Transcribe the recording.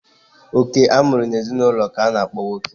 Oke a mụrụ n'ezinụlọ k'a na-akpọ nwoke.